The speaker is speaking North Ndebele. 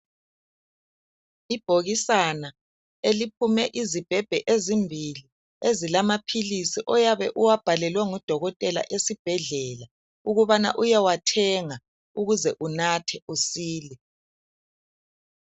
Ibhokisana eliphume izibhebhe ezimbili ezilamaphilisi oyabe uwabhalelwe ngudokotela esibhedlela ukubana uyewathenga ukuze unathe usile